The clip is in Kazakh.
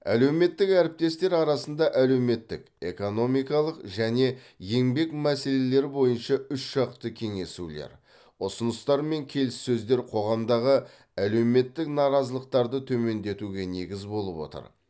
әлеуметтік әріптестер арасында әлеуметтік экономикалық және еңбек мәселелері бойынша үшжақты кеңесулер ұсыныстар мен келіссөздер қоғамдағы әлеуметтік наразылықтарды төмендетуге негіз болып отыр